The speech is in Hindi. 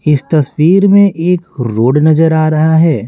इस तस्वीर में एक रोड नजर आ रहा है।